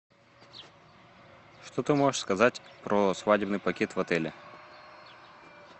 что ты можешь сказать про свадебный пакет в отеле